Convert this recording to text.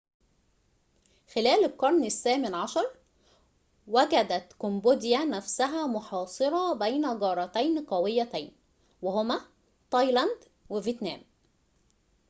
خلال القرن الثامن عشر وجدت كمبوديا نفسها محاصرة بين جارتين قويتين وهما تايلاند و فيتنام